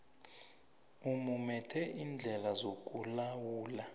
umumethe iindlela zokulawula